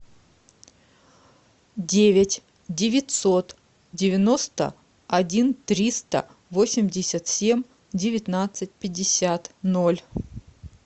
девять девятьсот девяносто один триста восемьдесят семь девятнадцать пятьдесят ноль